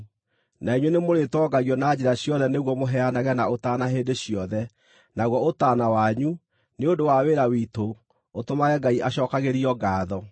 Na inyuĩ nĩmũrĩtongagio na njĩra ciothe nĩguo mũheanage na ũtaana hĩndĩ ciothe, naguo ũtaana wanyu, nĩ ũndũ wa wĩra witũ, ũtũmage Ngai acookagĩrio ngaatho.